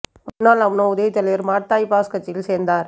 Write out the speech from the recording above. முன்னாள் அம்னோ உதவித் தலைவர் மாட் தாயிப் பாஸ் கட்சியில் சேர்ந்தார்